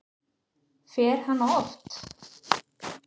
Fer hann oft?